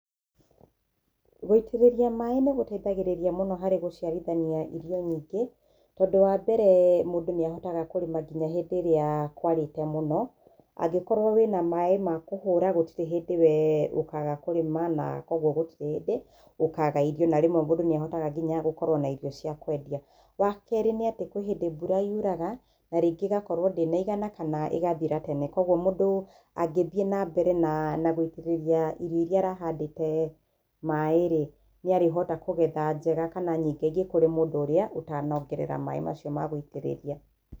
Gũitĩriria maaĩ nĩ gũteithagĩrĩria mũno harĩ gũciarithania irio nyingĩ, tondũ wa mbere, mũndũ nĩahotaga kũrima nginya hĩndĩ ĩrĩa kwarĩte mũno , angĩkorwo wina maaĩ ma kũhũũra gũtirĩ hĩndĩ we ũkaga kũrĩma, na kwogwo gũtirĩ hĩndĩ ũkaga irio na rĩmwe mũndu nĩ ahotaga nginya gũkoragwo na irio cia kwendia. Wa kerĩ nĩ atĩ, kwĩ hĩndĩ mbura yuraga na hĩndi ĩgakorwo ndĩnaigana kana ĩgathira tene. Koguo mũndũ angĩgĩthĩe na mbere na, na gwĩitĩrĩria irio iria arahandĩte maaĩ nĩarĩhota kũgetha njega kana nyingĩ ingĩ, kũrĩ mũndũ ũria ũtanongerera maaĩ mau ma gwĩitĩrĩria.